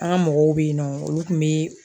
An ka mɔgɔw bɛ yen nɔ olu tun bɛ